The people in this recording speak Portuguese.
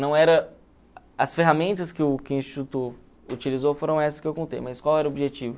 Não era as ferramentas que o que o Instituto utilizou, foram essas que eu contei, mas qual era o objetivo?